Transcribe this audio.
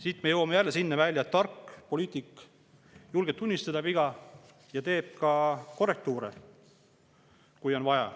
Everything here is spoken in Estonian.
Siit me jõuame jälle sinna välja, et tark poliitik julgeb tunnistada viga ja teeb ka korrektuure, kui on vaja.